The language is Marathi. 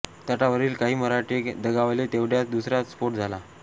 तटावरील काही मराठे दगावले तेवढ्यातच दुसरा स्फोट झाला